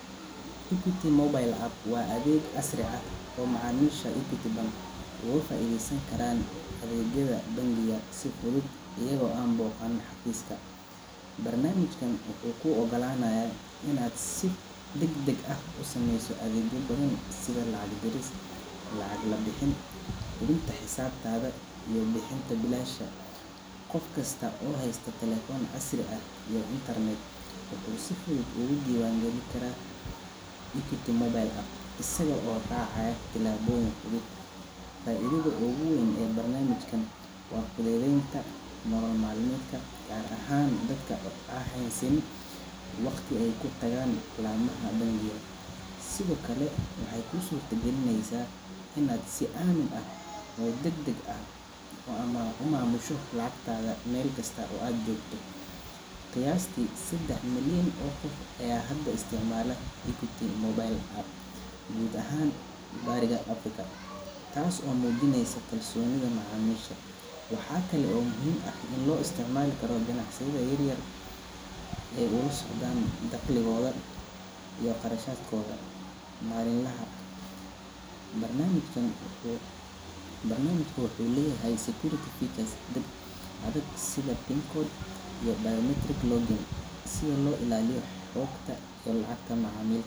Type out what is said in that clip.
equity mobile app waa adeeg casri, looga faideesan karo si fudud, wuxuu kuu ogolanayo inaad sameeso adeegyo badan, qof kasto wuu isticmaali Kara, lacag bixinta, gaar ahaan dadaka aan haysanin waqti deer, qayasti sedex milyan oo qof ayaa isticmaalo, ganacsiya yaryar, qarashadka maalin laha, sida kuwa adag, si loo ilaaliyo xogta lacagta macamisha.